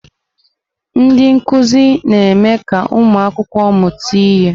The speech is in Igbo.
Ndị nkuzi na-eme ka ụmụ akwụkwọ mụta ihe.